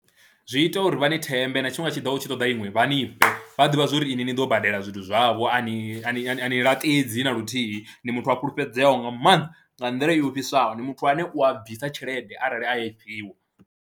Zwi ita uri vha ni thembe na tshifhinga tshi ḓaho u tshi ṱoḓa iṅwe vha ni fhe, vha ḓivha zwo ri ini ni ḓo badela zwithu zwavho, a ni a ni laṱidzi na luthihi, ni muthu a fulufhedzeaho nga maanḓa nga nḓila i ofhisaho, ni muthu ane u a bvisa tshelede arali a i fhiwa.